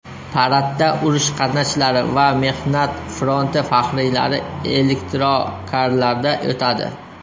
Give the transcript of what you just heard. Paradda urush qatnashchilari va mehnat fronti faxriylari elektrokarlarda o‘tadi.